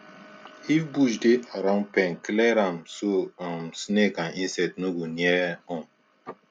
if bush dey around pen clear am so um snake and insects no go near um